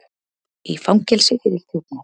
Í fangelsi fyrir þjófnað